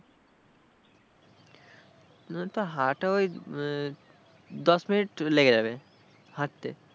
ওই তো হাঁটা ওই দশ minute লেগে যাবে হাঁটতে।